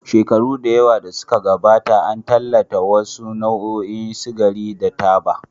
Shekaru da yawa da suka gabata, an tallata wasu nau'ikan sigari da taba.